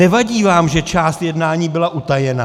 Nevadí vám, že část jednání byla utajena?